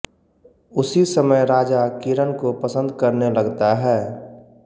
उसी समय राजा किरण को पसंद करने लगता है